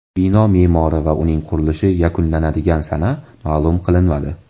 Bino me’mori va uning qurilishi yakunlanadigan sana ma’lum qilinmadi.